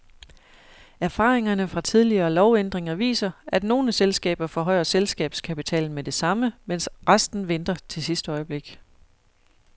Erfaringerne fra tidligere lovændringer viser, at nogle selskaber forhøjer selskabskapitalen med det samme, mens resten venter til sidste øjeblik.